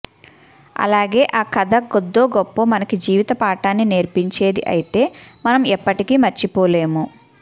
అలాగే ఆ కథ కొద్దో గొప్పో మనకి జీవిత పాఠాన్ని నేర్పించేది అయితే మనం ఎప్పటికీ మరచిపోలేము